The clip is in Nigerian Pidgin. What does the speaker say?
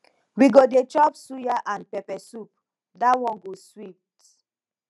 we go dey chop suya and pepper soup dat one go sweet